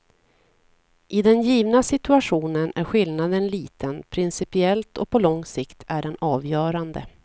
I den givna situationen är skillnaden liten, principiellt och på lång sikt är den avgörande.